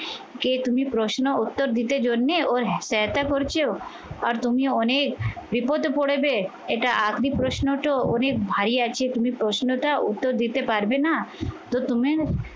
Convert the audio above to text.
যে তুমি প্রশ্ন উত্তর দিতে জন্যে, ওর করছো আর তুমি অনেক বিপদে পড়বে এটা আপনি প্রশ্নটা অনেক ভাই যে তুমি প্রশ্নটার উত্তর দিতে পারবে না? তো তুমি